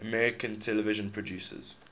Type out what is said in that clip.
american television producers